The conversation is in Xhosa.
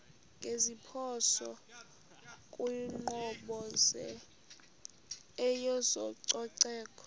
ngeziphoso kwinkqubo yezococeko